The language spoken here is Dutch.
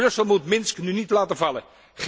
Brussel moet Minsk nu niet laten vallen.